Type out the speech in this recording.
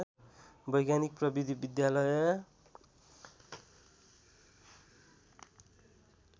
वैज्ञानिक प्रविधि विद्यालय